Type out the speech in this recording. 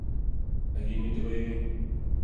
Ak imite koigeny.